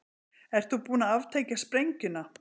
Ert þú búin að aftengja sprengjuna?